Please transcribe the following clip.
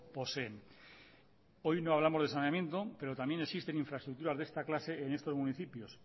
poseen hoy no hablamos de saneamiento pero también existen infraestructuras de esta clase en estos municipios